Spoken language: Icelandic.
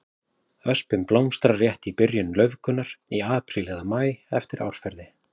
Öspin blómstrar rétt í byrjun laufgunar, í apríl eða maí eftir árferði.